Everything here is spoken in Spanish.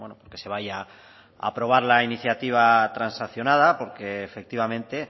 porque se vaya a aprobar la iniciativa transaccionada porque efectivamente